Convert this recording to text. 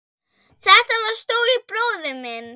Þetta var stóri bróðir minn.